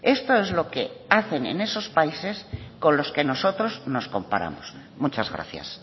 esto es lo que hacen en esos países con los que nosotros nos comparamos muchas gracias